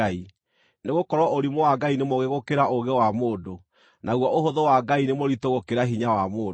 Nĩgũkorwo ũrimũ wa Ngai nĩ mũũgĩ gũkĩra ũũgĩ wa mũndũ, naguo ũhũthũ wa Ngai nĩ mũritũ gũkĩra hinya wa mũndũ.